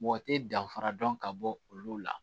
Mɔgɔ tɛ danfara dɔn ka bɔ olu la